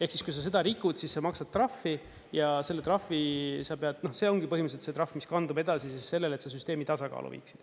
Ehk siis, kui sa seda rikud, siis sa maksad trahvi ja selle trahvi sa pead, see ongi põhimõtteliselt see trahv, mis kandub edasi siis sellele, et sa süsteemi tasakaalu viiksid.